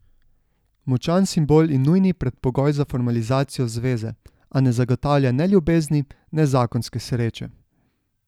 Močan simbol in nujni predpogoj za formalizacijo zveze, a ne zagotavlja ne ljubezni ne zakonske sreče.